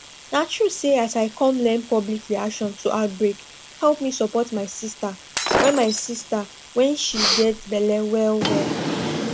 na true say as i come learn public reaction to outbreake help me support my sister when sister when she gets belle well well